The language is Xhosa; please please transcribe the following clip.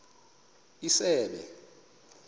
isebe